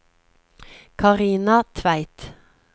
Karina Tveit